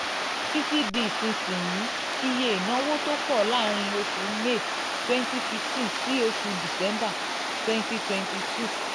titi di ìsinsìnyí iye ìnáwó ìnáwó tó pọ̀ láàárín oṣù may 2015 sí oṣù december 2022